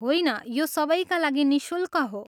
होइन, यो सबैका लागि निःशुल्क हो।